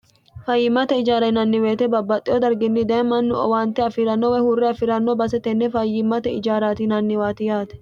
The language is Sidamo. fayyimmate ijaara yinanni woyite babbaxxeyo darginni daye mannu owaante afii'ranno weye huurre afi'ranno base tenne fayyimmate ijaarati yinanniwaati yaate